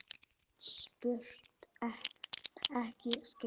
Spurt en ekki skipað.